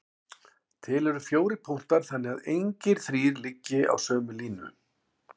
Til eru fjórir punktar þannig að engir þrír liggi á sömu línu.